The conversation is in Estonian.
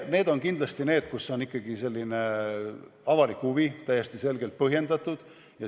Need on kindlasti need kohad, kus on ikkagi selline avalik huvi täiesti selgelt põhjendatud.